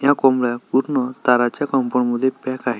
त्या कोंबड्या पूर्ण तारच्या कंपाउंड मध्ये पैक आहे.